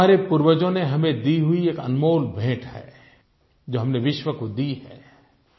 हमारे पूर्वजों की हमें दी हुई एक अनमोल भेंट है जो हमने विश्व को दी है